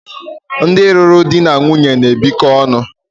ndị lụrụ di na nwunye na-ebikọ ọnụ